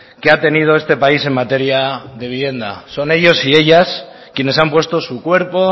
que ha tenido este país en materia de vivienda son ellos y ellas quienes han puesto su cuerpo